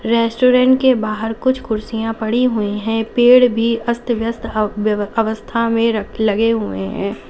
Restaurant के बाहर कुछ कुर्सियां पड़ी हुई हैं। पेड़ भी अस्त व्यस्त हव व्यव अवस्था में रख लगे हुए हैं।